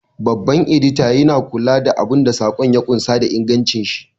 Babban Edita yana kula da abun da saƙon ya ƙunsa da ingantashi.